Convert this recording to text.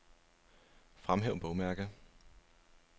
Fremhæv bogmærke.